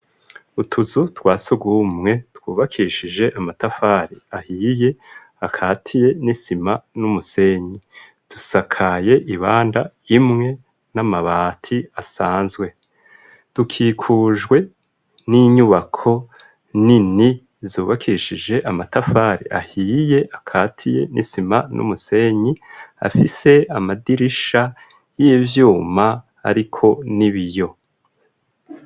Utuzu twasugumwe twubakishije amatafari ahiye akaziye n'isima n'umusenyi dusakaye ibanda imwe n'amabati asanzwe tukikujwe n'inyubako nini zubakishije amatafari ahiye akaziye n'isima n'umusenyi afise amadirisha y'ivyuma ariko n'ibiyo.